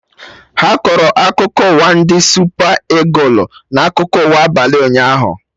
Ha kọrọ akụkọ ụwa ndị Supa Ịgụlụ na akụkọ ụwa abalị ụnyaahụ